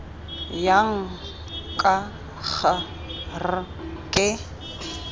jang k g r ke